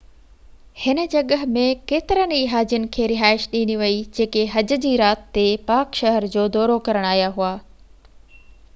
هن جڳهہ ۾ ڪيترن ئي هاجين کي رهائش ڏني وئي جيڪي حج جي رات تي پاڪ شهر جو دورو ڪرڻ آيا